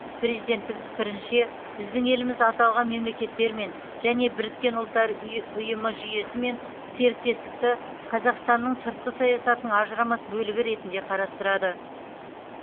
президенттің пікірінше біздің еліміз аталған мемлекеттермен және біріккен ұлттар ұй ұйымы жүйесімен серіктестікті қазақстанның сыртқы саясатының ажырамас бөлігі ретінде қарастырады